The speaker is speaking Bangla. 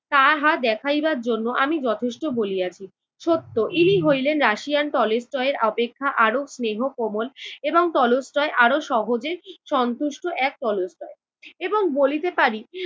তাহা দেখাইবার জন্য আমি যথেষ্ট বলিয়াছি। ছোট্ট, ইনি হইলেন রাশিয়ান টলস্টয়ের অপেক্ষা আরও স্নেহ কোমল এবং টলস্টয় আরও সহজে সন্তুষ্ট এক টলস্টয় এবং বলিতে পারি